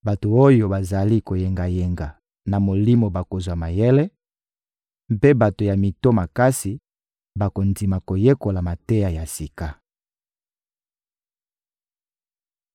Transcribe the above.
Bato oyo bazali koyengayenga na molimo bakozwa mayele, mpe bato ya mito makasi bakondima koyekola mateya ya sika.»